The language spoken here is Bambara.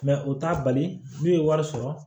u t'a bali n'u ye wari sɔrɔ